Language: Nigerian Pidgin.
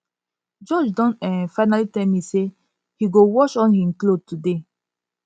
george don um finally tell me say he go watch all im cloth today